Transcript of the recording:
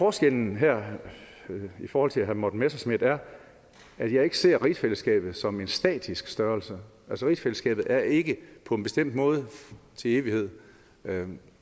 forskellen her i forhold til herre morten messerschmidt er at jeg ikke ser rigsfællesskabet som en statisk størrelse rigsfællesskabet er ikke på en bestemt måde til evighed